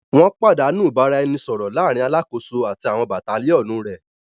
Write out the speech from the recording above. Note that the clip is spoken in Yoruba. Wọn padanu ibaraẹnisọrọ laarin Alakoso ati àwọn Battalionu rẹ